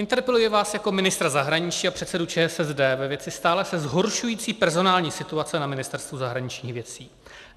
Interpeluji vás jako ministra zahraničí a předsedu ČSSD ve věci stále se zhoršující personální situace na Ministerstvu zahraničních věcí.